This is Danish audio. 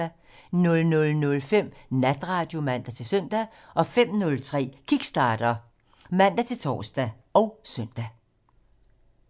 00:05: Natradio (man-søn) 05:03: Kickstarter (man-tor og søn)